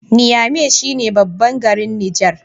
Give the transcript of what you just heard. Niamey shi ne babban garin Niger